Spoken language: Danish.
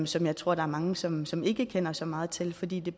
som jeg tror der er mange som som ikke kender så meget til fordi det